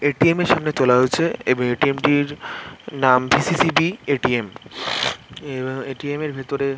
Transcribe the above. ATM. এর সামনে তোলা হয়েছে | এবং এ.টি.এম. -টির নাম ডি.সি.সি.ডি. এ.টি.এম. এব এ.টি.এম. -এর ভেতরে--